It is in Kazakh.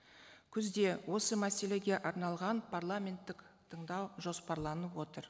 күзде осы мәселеге арналған парламенттік тыңдау жоспарланып отыр